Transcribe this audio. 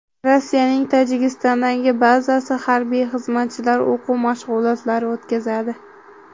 Rossiyaning Tojikistondagi bazasi harbiy xizmatchilari o‘quv mashg‘ulotlari o‘tkazadi.